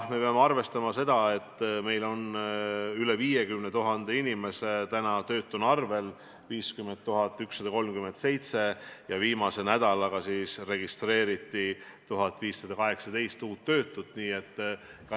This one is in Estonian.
Me peame arvestama seda, et eilse seisuga oli meil üle 50 000 inimese töötuna arvel, 50 137, viimase nädalaga registreeriti 1518 uut töötut.